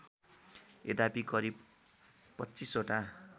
यद्यपि करिब २५ वटा